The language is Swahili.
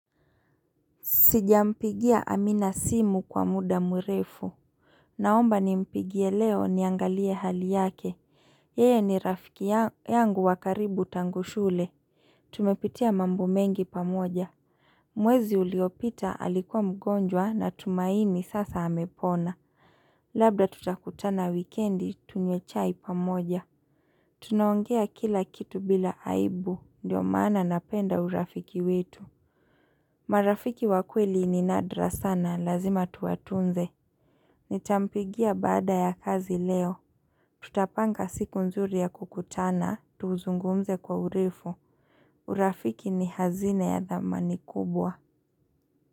Sijampigia amina simu kwa muda murefu. Naomba ni mpigie leo niangalie hali yake. Yeye ni rafiki yangu wakaribu tangu shule. Tumepitia mambo mengi pamoja. Mwezi uliopita alikuwa mgonjwa na tumaini sasa amepona. Labda tutakutana wikendi tunywe chai pamoja. Tunaongea kila kitu bila aibu. Ndiyo mana napenda urafiki wetu. Marafiki wakweli ni nadra sana, lazima tuwatunze Nitampigia baada ya kazi leo. Tutapanga siku nzuri ya kukutana, tuzungumze kwa urefu urafiki ni hazina ya dhamani kubwa.